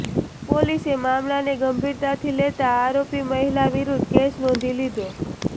પોલીસે મામલાને ગંભીરતાથી લેતા આરોપી મહિલા વિરુદ્ધ કેસ નોંધી લીધો